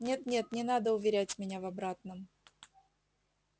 нет нет не надо уверять меня в обратном